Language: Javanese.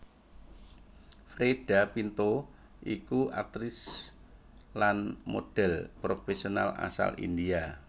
Freida Pinto iku aktris lan modhèl profèsional asal India